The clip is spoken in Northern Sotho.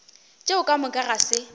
tšeo ka moka ga se